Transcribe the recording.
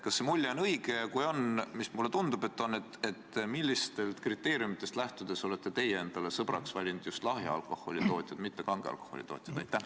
Kas see mulje on õige ja kui on – mulle tundub, et on –, siis millistest kriteeriumidest lähtudes olete teie endale sõbraks valinud just lahja alkoholi tootjad?